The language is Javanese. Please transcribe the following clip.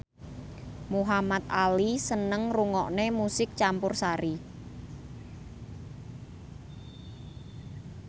Muhamad Ali seneng ngrungokne musik campursari